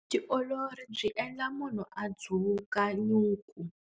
Vutiolori byi endla munhu a dzuka nyuku.